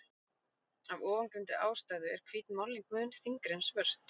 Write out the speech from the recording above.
Af ofangreindri ástæðu er hvít málning mun þyngri en svört.